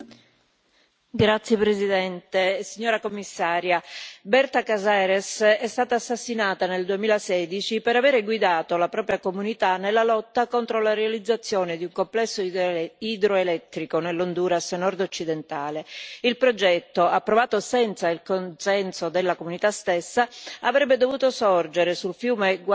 Signor Presidente, onorevoli colleghi, signora Commissaria, Berta Cáceres è stata assassinata nel 2016 per avere guidato la propria comunità nella lotta contro la realizzazione di un complesso idroelettrico nell'Honduras nordoccidentale. Il progetto, approvato senza il consenso della comunità stessa, avrebbe dovuto sorgere sul fiume